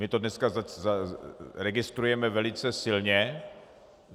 My to dneska registrujeme velice silně.